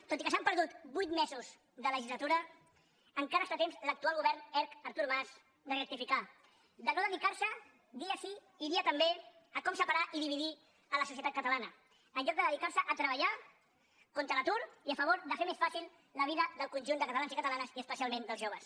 tot i que s’han perdut vuit mesos de legislatura encara està a temps l’actual govern erc artur mas de rectificar de no dedicar se dia sí i dia també a com separar i dividir la societat catalana en lloc de dedicar se a treballar contra l’atur i a favor de fer més fàcil la vida del conjunt de catalans i catalanes i especialment dels joves